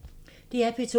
DR P2